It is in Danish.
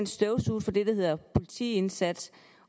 støvsuget for det der hedder politiindsats